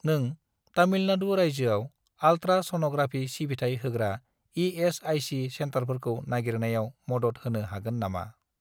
नों तामिलनाडु रायजोआव ultra sonography सिबिथाय होग्रा इ.एस.आइ.सि. सेन्टारफोरखौ नागिरनायाव मदद होनो हागोन नामा?